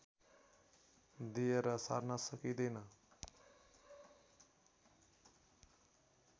दिएर सार्न सकिँदैन